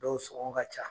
Dɔw sɔngɔ ka ca